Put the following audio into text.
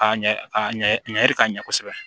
A ɲɛ a ɲɛ ka ɲɛ kosɛbɛ